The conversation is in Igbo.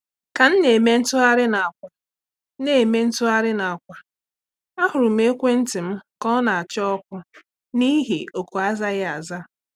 Ka m na-eme ntụgharị n'àkwà, na-eme ntụgharị n'àkwà, a hụrụ m ekwentị m ka ọ na acha ọkụ n'ihi oku azaghi aza